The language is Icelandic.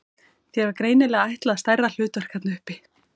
Þér var greinilega ætlað stærra hlutverk þarna uppi!